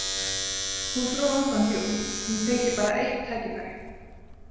Hún dró andann djúpt, hún fengi bara eitt tækifæri.